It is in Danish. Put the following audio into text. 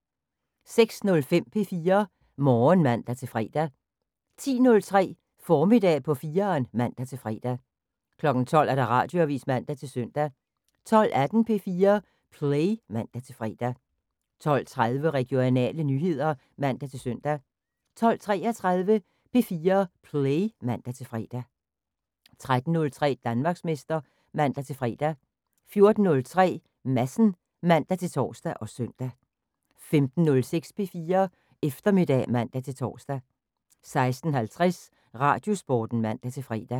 06:05: P4 Morgen (man-fre) 10:03: Formiddag på 4'eren (man-fre) 12:00: Radioavis (man-søn) 12:18: P4 Play (man-fre) 12:30: Regionale nyheder (man-søn) 12:33: P4 Play (man-fre) 13:03: Danmarksmester (man-fre) 14:03: Madsen (man-tor og søn) 15:06: P4 Eftermiddag (man-tor) 16:50: Radiosporten (man-fre)